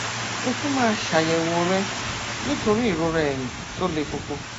ó tún máa ṣàyẹwò rẹ nítorí ìrora ẹyìn tó le koko